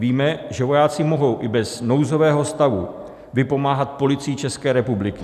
Víme, že vojáci mohou i bez nouzového stavu vypomáhat Policii České republiky.